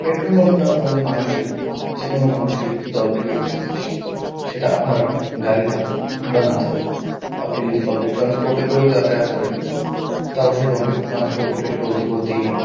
Petrol pump -টা আমাদের মানুষের যেকোনো মানুষেরই খুব দরকারি একটা জিনিস সেটা আপনার গাড়ি থাকুক বা না থাকুক। আপনি যদি পাবলিক ট্রান্সপোর্ট -এ করেও যাতায়াত করেন তাও সে পাবলিক ট্রান্সপোর্ট -এ তো পেট্রোল ভরতেই হবে।